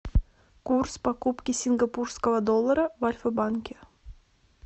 курс покупки сингапурского доллара в альфа банке